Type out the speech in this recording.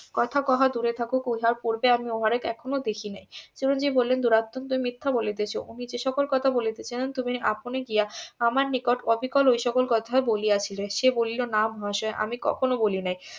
কথা কহা দূরে থাকুক ও যা করবে আমি উহারে এখনো দেখি নাই চিরঞ্জিব বলিলেন দুরাত্মনঃ তুমি মিথ্যা বলিতেছ উনি যে সকল কথা বলিতে চান তুমি আপনি গিয়া আমার নিকট অবিকল ওই সকল কোথায় বলিয়াছিলে সে বলিল না মহাশয় আমি কখনো বলি নাই